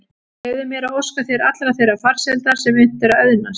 Leyfðu mér að óska þér allrar þeirrar farsældar sem unnt er að auðnast.